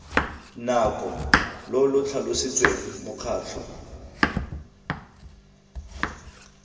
nako lo lo tlhalositsweng mokgatlho